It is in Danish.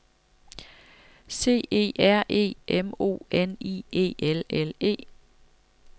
C E R E M O N I E L L E